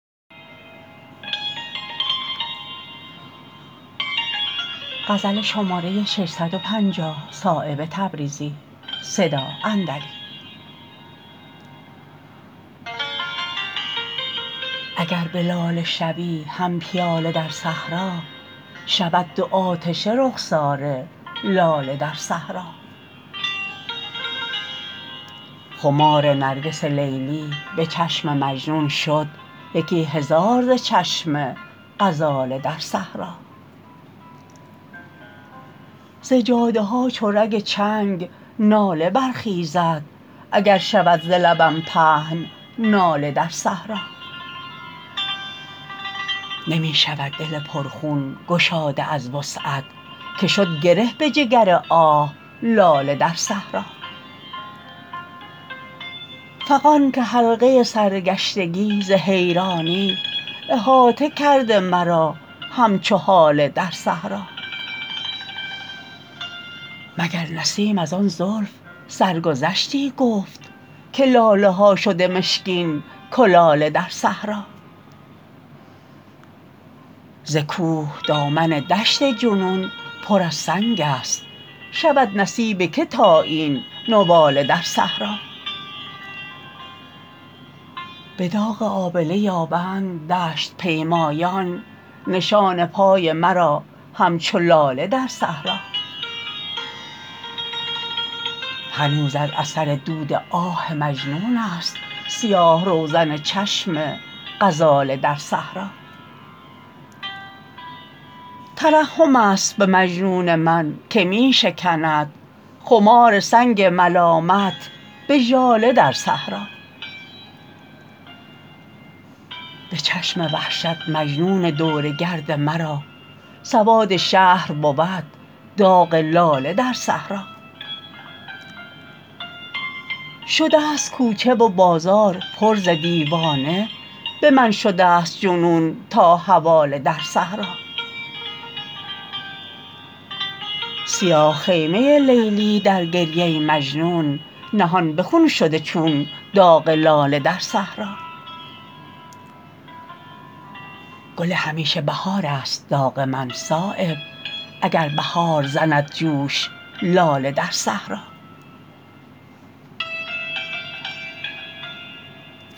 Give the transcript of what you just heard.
اگر به لاله شوی هم پیاله در صحرا شود دو آتشه رخسار لاله در صحرا خمار نرگس لیلی به چشم مجنون شد یکی هزار ز چشم غزاله در صحرا ز جاده ها چو رگ چنگ ناله برخیزد اگر شود ز لبم پهن ناله در صحرا نمی شود دل پر خون گشاده از وسعت که شد گره به جگر آه لاله در صحرا فغان که حلقه سرگشتگی ز حیرانی احاطه کرده مرا همچو هاله در صحرا مگر نسیم ازان زلف سرگذشتی گفت که لاله ها شده مشکین کلاله در صحرا ز کوه دامن دشت جنون پر از سنگ است شود نصیب که تا این نواله در صحرا به داغ آبله یابند دشت پیمایان نشان پای مرا همچو لاله در صحرا هنوز از اثر دود آه مجنون است سیاه روزن چشم غزاله در صحرا ترحم است به مجنون من که می شکند خمار سنگ ملامت به ژاله در صحرا به چشم وحشت مجنون دور گرد مرا سواد شهر بود داغ لاله در صحرا شده است کوچه و بازار پر ز دیوانه به من شده است جنون تا حواله در صحرا سیاه خیمه لیلی در گریه مجنون نهان به خون شده چون داغ لاله در صحرا گل همیشه بهارست داغ من صایب اگر بهار زند جوش لاله در صحرا